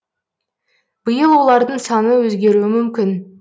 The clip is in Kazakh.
биыл олардың саны өзгеруі мүмкін